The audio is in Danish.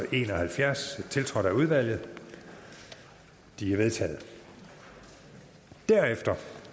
en og halvfjerds tiltrådt af udvalget de er vedtaget derefter